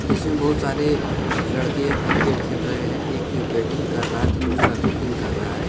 इसमें बहुत सारे लड़के क्रिकेट खेल रहे हैं एक बैटिंग कर रहा है तो दूसरा फील्डिंग कर रहा है।